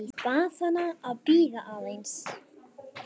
Bað hana að bíða aðeins.